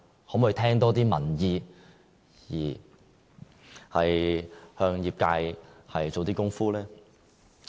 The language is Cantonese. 可否多聽取民意，向業界做些工夫呢？